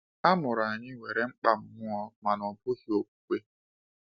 Amụrụ anyị nwere mkpa mmụọ mana ọ bụghị okwukwe.